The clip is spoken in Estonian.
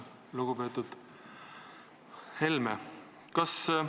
Lugupeetud Helme!